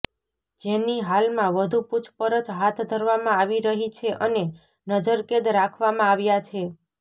જેની હાલમાં વધુ પુછપરછ હાથ ધરવામાં આવી રહી છે અને નજરકેદ રાખવામાં આવ્યા છે